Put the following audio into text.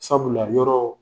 Sabula yɔrɔ